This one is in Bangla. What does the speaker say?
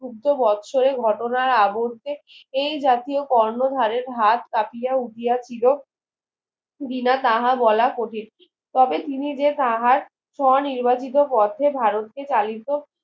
খুদ্দ বছরের ঘটনার আবুদ্ধে এই জাতীয় কর্ণধারের ধার চাপিয়া উঠিয়াছিল দিনা তাহা বলা কঠিন তবে তিনি যে তাহার স্ব নির্বাচিত পথে ভারতকে চালিত